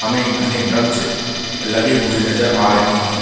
हमे घने ब्रक्ष लगे हुए नज़र आ रहै हैं।